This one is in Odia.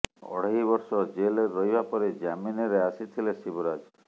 ଅଢେଇ ବର୍ଷ ଜେଲରେ ରହିବା ପରେ ଜାମିନରେ ଆସିଥିଲେ ଶିବରାଜ